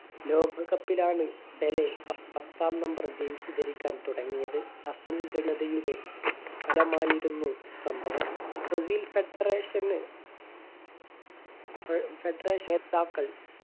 ലോക cup ലാണ് Pele പത്താം number jersey ധരിക്കാൻ തുടങ്ങിയത് ഫലമായിരുന്നു സംഭവം ബ്രസീൽ federation ന്